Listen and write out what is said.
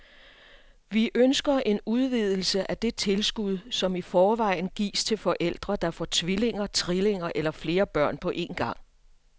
Vi ønsker en udvidelse af det tilskud, som i forvejen gives til forældre, der får tvillinger, trillinger eller flere børn på en gang.